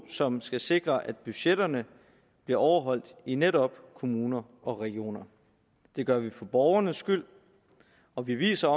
som skal sikre at budgetterne bliver overholdt i netop kommuner og regioner det gør vi for borgernes skyld og vi viser